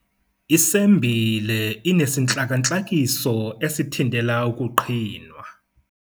Isembile inesintlakantlakiso esithintela ukuqhinwa.